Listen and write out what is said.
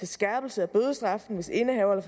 skærpelse af bødestraffen hvis indehaveren